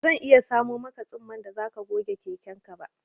Bazan iya samo maka tsumman da zaka goge keken ka ba